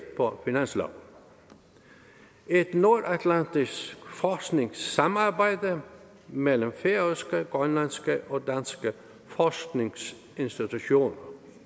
på finansloven et nordatlantisk forskningssamarbejde mellem færøske grønlandske og danske forskningsinstitutioner